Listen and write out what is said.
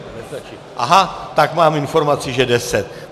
Aha, tak mám informaci, že deset.